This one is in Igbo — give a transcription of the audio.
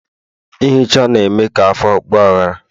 ihicha na-eme ka afọ ọgbaghara